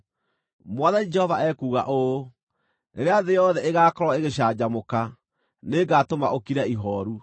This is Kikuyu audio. Mwathani Jehova ekuuga ũũ: Rĩrĩa thĩ yothe ĩgaakorwo ĩgĩcanjamũka, nĩngatũma ũkire ihooru.